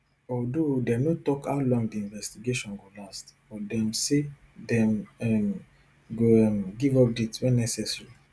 although dem no tok how long di investigation go last but dem say dem um go um give updates wen necessary